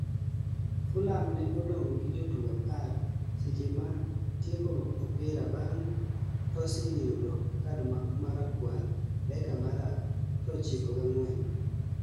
Fulham ne odong' gi jotugo 10 seche ma tieko opira bang' Tosin yudo kad ma rakwar dakika mar 94